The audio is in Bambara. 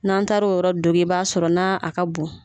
N'an taar'o yɔrɔ dogi i b'a sɔrɔ n'a a ka bon.